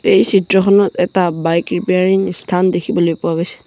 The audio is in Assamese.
এই চিত্ৰখনত এটা বাইক ৰিপেইৰিং স্থান দেখিবলৈ পোৱা গৈছে।